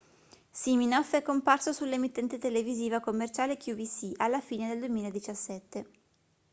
siminoff è comparso sull'emittente televisiva commerciale qvc alla fine del 2017